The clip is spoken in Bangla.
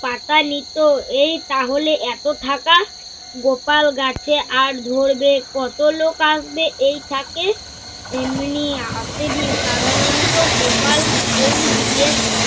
পাতা নিত এই তাহলে এত থাকা। গোপাল গাছে আর ধরবে কত লোক আসবে এই থাকে? এমনি আসবি সাধারণত গোপাল ডাল বিয়ে